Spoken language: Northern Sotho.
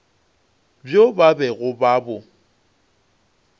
bjo ba bego ba bo